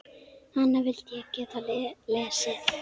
Hana vildi ég geta lesið.